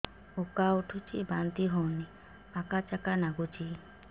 ଉକା ଉଠୁଚି ବାନ୍ତି ହଉନି ଆକାଚାକା ନାଗୁଚି